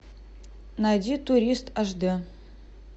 найди турист аш д